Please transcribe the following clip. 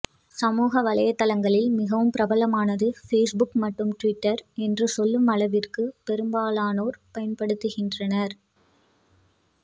சமூக வலைதளங்களில் மிகவும் பிரபலமானது பேஸ்புக் மற்றும் ட்விட்டர் என்று சொல்லும் அளவிற்கு பெரும்பாலோனோர் பயன்படுத்துகின்றனர்